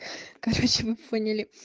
короче вы поняли